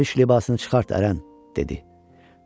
Dərviş libasını çıxart ərən, dedi.